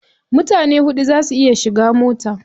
Mutane huɗu za su iya shiga mota.